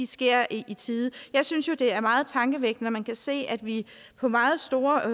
sker i tide jeg synes jo det er meget tankevækkende at man kan se at vi på meget store